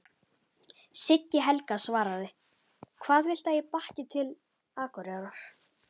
Siggi Helga svaraði: Hvað viltu að ég bakki til Akureyrar?